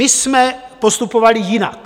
My jsme postupovali jinak.